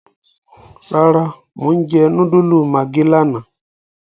Rárá Mo n jẹ núdúlù maggi lààná